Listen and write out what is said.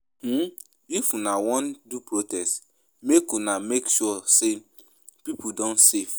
I bin folo di pipo wey do di Endsars protest five years ago.